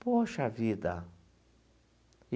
Poxa vida!